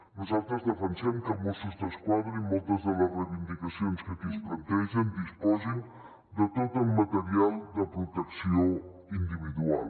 nosaltres defensem que mossos d’esquadra i moltes de les reivindicacions que aquí es plantegen disposin de tot el material de protecció individual